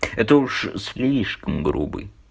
это уж слишком грубый